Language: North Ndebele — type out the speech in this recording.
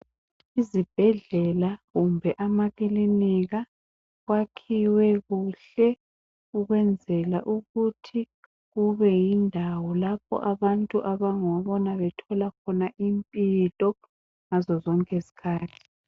Izibhedlela kumbe amakilinika kwakhiwe kuhle ukwenzela ukuthi kube yindawo lapho abantu abangabona bethola khona impilo ngazo zonke izikhathi.